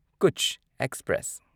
Kutch express